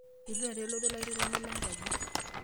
Eitu taata elotu olairritani lenkaji.